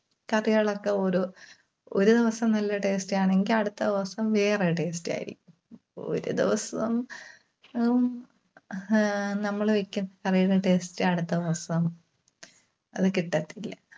കറികളൊക്കെ ഒരു, ഒരു ദിവസം നല്ല taste ആണെങ്കിൽ അടുത്ത ദിവസം വേറൊരു taste ആയിരിക്കും. ഒരു ദിവസം ഉം അഹ് നമ്മള് വെക്കുന്ന കറിയുടെ taste അടുത്ത ദിവസം അത് കിട്ടത്തില്ല.